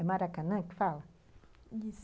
É Maracanã que fala? Isso.